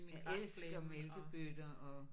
Jeg elsker mælkebøtter og